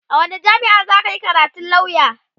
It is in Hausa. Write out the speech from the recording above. a wani jamia'a zaka Yi karatun lauya?